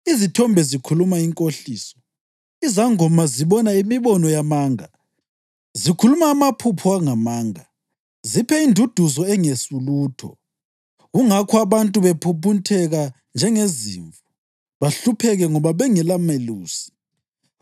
Izithombe zikhuluma inkohliso, izangoma zibona imibono yamanga; zikhuluma amaphupho amanga; ziphe induduzo engesulutho. Kungakho abantu bephumputheka njengezimvu bahlupheke ngoba bengelamelusi.